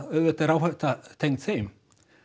auðvitað er áhætta tengd þeim